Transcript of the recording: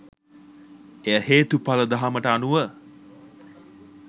එය හේතුඵල දහමට අනුව